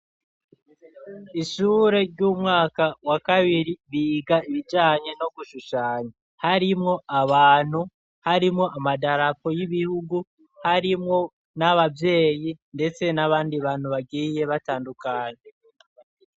Ishure ry'umwaka wa kabiri biga ibijanye no gushushanya. Harimwo abantu, harimwo amadarapo y'ibihugu, harimwo n'abavyeyi ndetse n'abandi bantu bagiye batandukanye.